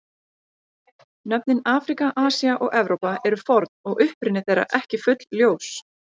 Nöfnin Afríka, Asía og Evrópa eru forn og uppruni þeirra ekki fullljós.